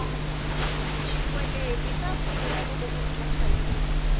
xikweleti xa pfuna loko munhu a chayile